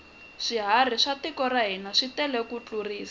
swiharhi swa tiko ra hina switele ku tlurisa